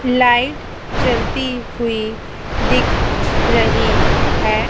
Light जलती हुई दिख रही है।